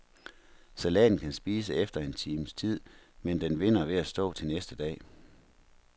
Salaten kan spises efter en times tid, men den vinder ved at stå til næste dag.